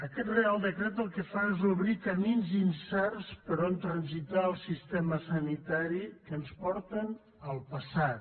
aquest reial decret el que fa és obrir camins incerts per on transitar el sistema sanitari que ens porten al passat